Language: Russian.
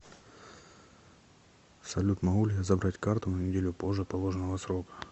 салют могу ли я забрать карту на неделю позже положенного срока